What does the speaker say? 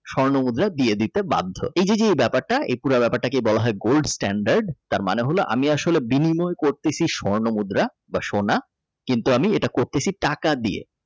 স্বর্ণমুদ্রা দিয়ে দিতে বাধ্য এই যে যে ব্যাপারটা এই পুরো ব্যাপারটাকে বলা হয় গোল্ড স্ট্যান্ডার্ড তার মানে হল আমি আসলে বিনিময় করতাছি স্বর্ণ মুদ্রা বা সোনা কিন্তু আমি এটা করতাছি টাকা দিয়ে।